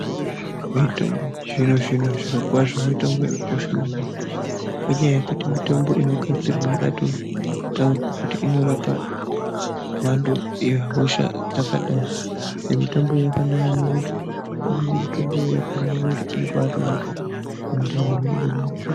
Mitombo yechizvino zvino zvirokwazvo mitombo yakakosha maningi ngenyaya yekuti mitombo inogadzirwa yakatotaurwa kuti mhando yehosha dzakadai mitomboyo yakanaka ngokuti imweni mitomboyo yakanaka ngokuti inobatorapa mundani munenge meirwadza